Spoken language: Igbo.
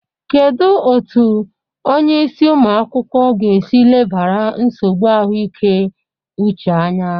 Kedu otu onye isi ụmụ akwụkwọ ga-esi lebara nsogbu ahụike uche anya?